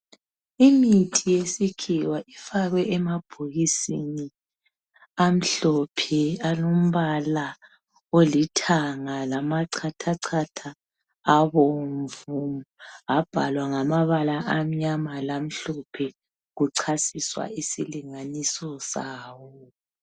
Imithi yesikhiwa ifakwe emabhokisini amhlophe alombala olithanga lamachathachatha abomvu abhalwa ngamabala amnyama lamhlophe kuchasiswa isilinganiso sawo.